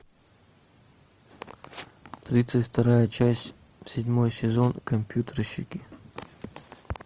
тридцать вторая часть седьмой сезон компьютерщики